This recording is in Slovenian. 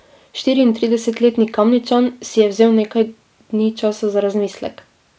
Štiriintridesetletni Kamničan si je vzel nekaj dni časa za razmislek.